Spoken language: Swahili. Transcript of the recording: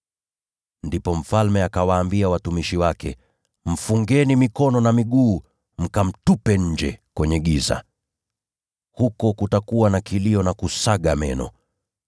“Ndipo mfalme akawaambia watumishi wake, ‘Mfungeni mikono na miguu mkamtupe nje, kwenye giza. Huko kutakuwa na kilio na kusaga meno.’